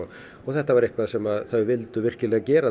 þetta var eitthvað sem þau vildu virkilega gera